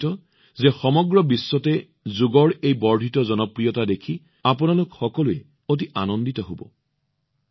মই নিশ্চিত সমগ্ৰ বিশ্বতে যোগৰ বৰ্ধিত জনপ্ৰিয়তা দেখি আপোনালোক সকলোৱে ভাল পাইছে